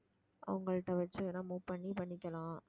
அவங்கள்ட்ட வச்சு வேணா move பண்ணி பண்ணிக்கலாம்